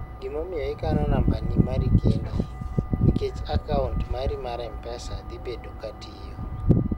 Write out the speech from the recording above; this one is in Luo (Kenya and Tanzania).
gima omiyo ikano nambi mari kendi nikech akaunt mari mar mpesa dhibedo katiyo